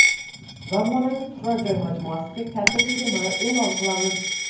Zamonaviy turar joy majmuasiga katta chegirmalar e’lon qilamiz.